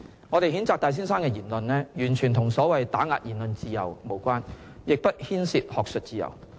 我們譴責戴先生的言論，完全與所謂打壓言論自由無關，亦不牽涉學術自由。